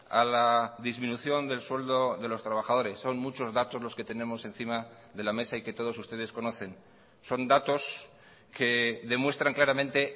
a la disminución del sueldo de los trabajadores son muchos datos los que tenemos encima de la mesa y que todos ustedes conocen son datos que demuestran claramente